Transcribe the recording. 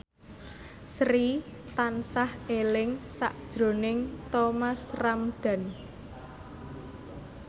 Sri tansah eling sakjroning Thomas Ramdhan